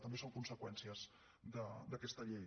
també són conseqüències d’aquesta llei